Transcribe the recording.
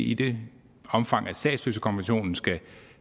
i det omfang at statsløsekonventionen skal